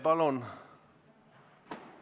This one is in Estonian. Palun!